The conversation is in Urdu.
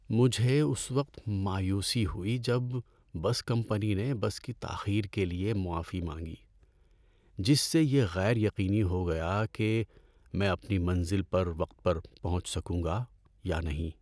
‏مجھے اس وقت مایوسی ہوئی جب بس کمپنی نے بس کی تاخیر کے لیے معافی مانگی، جس سے یہ غیر یقینی ہو گیا کہ میں اپنی منزل پر وقت پر پہنچ سکوں گا یا نہیں۔